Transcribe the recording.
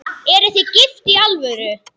Eruð þið gift í alvöru?